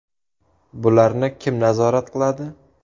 Bularni kim nazorat qiladi?